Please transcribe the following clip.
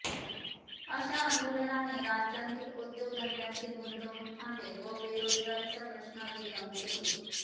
अशा आंदोलनाने राज्यांतील उद्योग धंद्यातील गुंतवणुक थांबेल व बेरोजगारीचा प्रश्न अधिक गंभीर होईल